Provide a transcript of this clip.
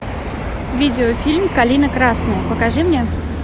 видеофильм калина красная покажи мне